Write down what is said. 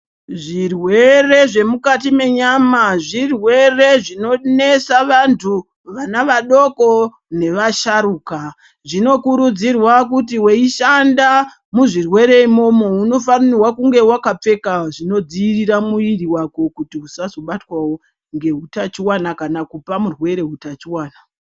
Zvirwere zvemukati menyama zvirwere zvinonesa vantu vana vadoko nevasharuka zvinokuridzirwa kuti weishanda muzvirwere imomo unofanirwa kunge wakapfeka zvinodziirira mwiri wako kuti usazobatwawo ngehutachiwana kana kupa murwere hutachiwana.